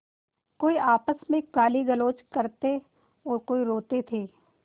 कोई आपस में गालीगलौज करते और कोई रोते थे